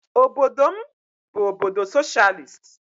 Obodo m bụ obodo soshịalist.